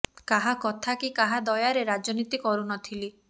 କାହା କଥା କି କାହା ଦୟାରେ ରାଜନୀତି କରୁ ନଥିଲି